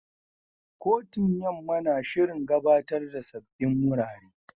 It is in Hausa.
Kotun Yamma na shirin gabatar da sabbin wurare.